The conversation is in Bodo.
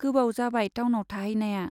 गोबाव जाबाय टाउनाव थाहैनाया।